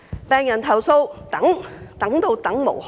病人投訴、苦等，等到等無可等。